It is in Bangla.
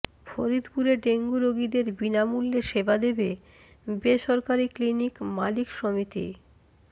ফরিদপুরে ডেঙ্গু রোগীদের বিনামূল্যে সেবা দেবে বেসরকারি ক্লিনিক মালিক সমিতি